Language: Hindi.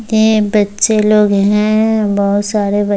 ये बच्चे लोग हैं बहुत सारे ब --